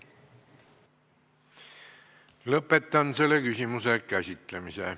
Lõpetan selle küsimuse käsitlemise.